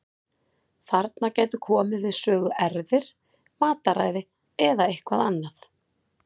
Þarna gætu komið við sögu erfðir, mataræði eða eitthvað annað.